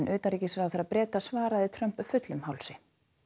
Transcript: utanríkisráðherra Breta svaraði Trump fullum hálsi